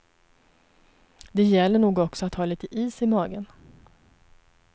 Det gäller nog också att ha lite is i magen.